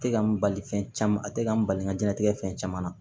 Tɛ ka n bali fɛn caman a tɛ ka n bali n ka diɲɛlatigɛ fɛn caman na